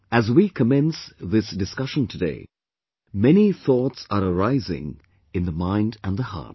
As we commence this discussion today, many thoughts are arising in the mind and the heart